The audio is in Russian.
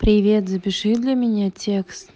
привет запиши для меня текст